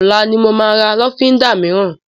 Ọlá ni mo máa ra lọ́fíndà mìíràn